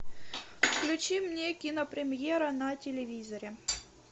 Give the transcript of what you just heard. включи мне кинопремьера на телевизоре